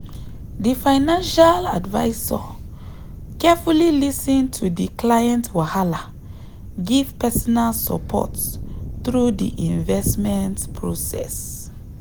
di financial advisor carefully lis ten to di client wahala give personal support through di investment process.